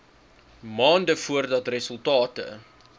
maande voordat resultate